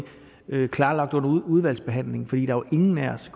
klarlagt under udvalgsbehandlingen for jo ingen af os i